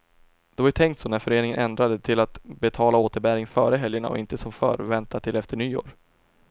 Det var ju tänkt så när föreningen ändrade det till att betala återbäringen före helgerna och inte som förr vänta till efter nyår.